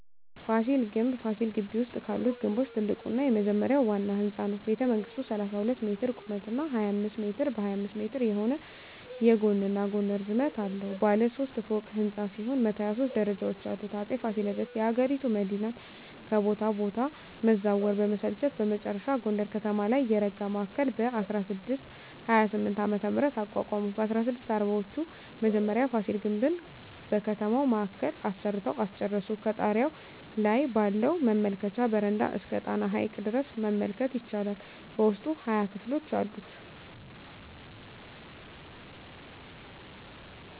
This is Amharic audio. ፋሲል ግምብ ፋሲል ግቢ ውስጥ ካሉት ግምቦች ትልቁና የመጀመሪያው ዋና ህንጻ ነው። ቤተመንግሥቱ 32 ሜትር ቁመት እና 25 ሜትር በ25 ሜትር የሆነ የጎንና ጎን ርዝመት አለው። ባለ ሦስት ፎቅ ሕንፃ ሲሆን 123 ደረጃዎች አሉት። አጼ ፋሲለደስ የአገሪቱ መዲናን ከቦታ ቦታ መዛወር በመሰልቸት በመጨረሻ ጎንደር ከተማ ላይ የረጋ ማዕከል በ1628ዓ.ም. አቋቋሙ። በ1640ወቹ መጀመሪያ ፋሲል ግምብን በከተማው ማዕከል አሰርተው አስጨረሱ። ከጣሪያው ላይ ባለው መመልከቻ በረንዳ እስከ ጣና ሐይቅ ድረስ መመልከት ይቻላል። በውስጡ 20 ክፍሎች አሉት።